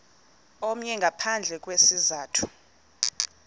omnye ngaphandle kwesizathu